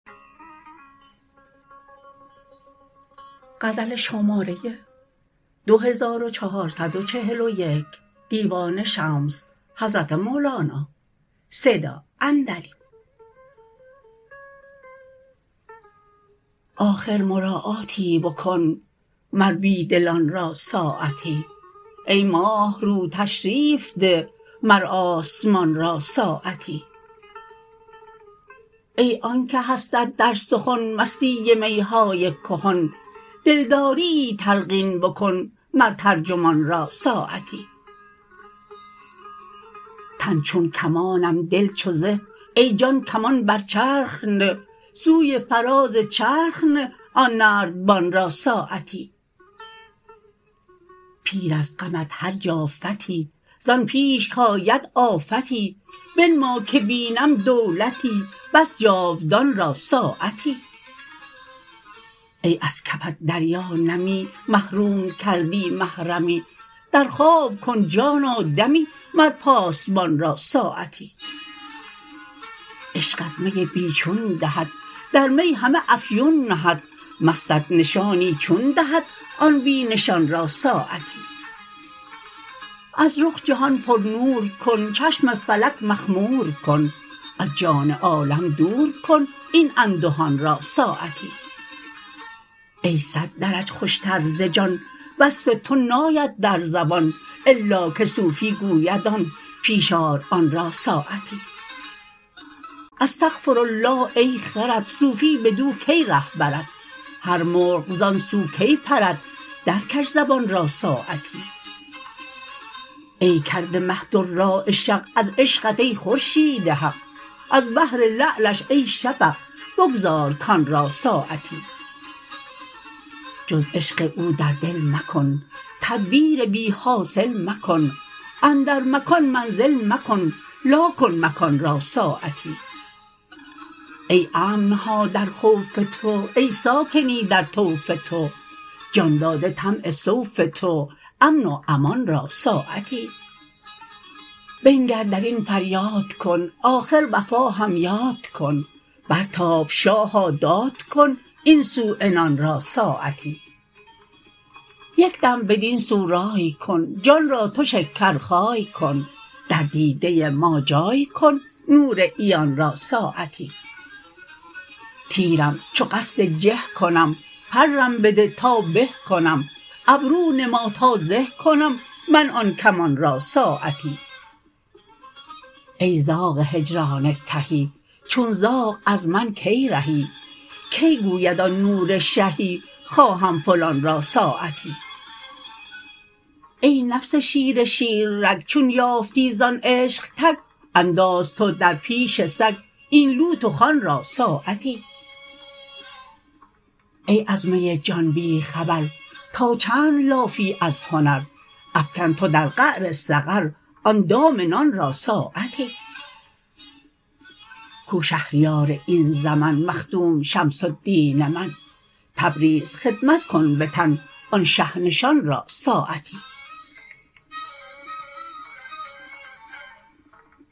آخر مراعاتی بکن مر بی دلان را ساعتی ای ماه رو تشریف ده مر آسمان را ساعتی ای آن که هستت در سخن مستی می های کهن دلداریی تلقین بکن مر ترجمان را ساعتی تن چون کمانم دل چو زه ای جان کمان بر چرخ نه سوی فراز چرخ نه آن نردبان را ساعتی پیر از غمت هر جا فتی زان پیش کید آفتی بنما که بینم دولتی بس جاودان را ساعتی ای از کفت دریا نمی محروم کردی محرمی در خواب کن جانا دمی مر پاسبان را ساعتی عشقت می بی چون دهد در می همه افیون نهد مستت نشانی چون دهد آن بی نشان را ساعتی از رخ جهان پرنور کن چشم فلک مخمور کن از جان عالم دور کن این اندهان را ساعتی ای صد درج خوشتر ز جان وصف تو ناید در زبان الا که صوفی گوید آن پیش آر آن را ساعتی استغفرالله ای خرد صوفی بدو کی ره برد هر مرغ زان سو کی پرد درکش زبان را ساعتی ای کرده مه دراعه شق از عشقت ای خورشید حق از بهر لعلش ای شفق بگذار کان را ساعتی جز عشق او در دل مکن تدبیر بی حاصل مکن اندر مکان منزل مکن لا کن مکان را ساعتی ای امن ها در خوف تو ای ساکنی در طوف تو جان داده طمع سوف تو امن و امان را ساعتی بنگر در این فریاد کن آخر وفا هم یاد کن برتاب شاها داد کن این سو عنان را ساعتی یک دم بدین سو رای کن جان را تو شکرخای کن در دیده ما جای کن نور عیان را ساعتی تیرم چو قصد جه کنم پرم بده تا به کنم ابرو نما تا زه کنم من آن کمان را ساعتی ای زاغ هجران تهی چون زاغ از من کی رهی کی گوید آن نور شهی خواهم فلان را ساعتی ای نفس شیر شیررگ چون یافتی زان عشق تک انداز تو در پیش سگ این لوت و خوان را ساعتی ای از می جان بی خبر تا چند لافی از هنر افکن تو در قعر سقر آن دام نان را ساعتی کو شهریار این زمن مخدوم شمس الدین من تبریز خدمت کن به تن آن شه نشان را ساعتی